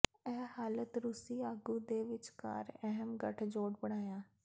ਇਹ ਹਾਲਤ ਰੂਸੀ ਆਗੂ ਦੇ ਵਿਚਕਾਰ ਅਹਿਮ ਗਠਜੋੜ ਬਣਾਇਆ